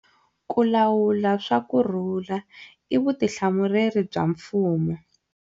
Ku lawula swa ku rhurha i vutihlamuleri bya mfumo.